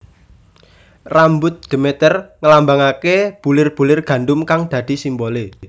Rambut Demeter nglambangake bulir bulir gandum kang dadi simbole